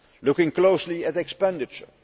Looking closely at expenditure.